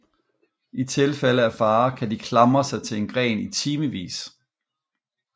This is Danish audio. I tilfælde af fare kan de klamre sig til en gren i timevis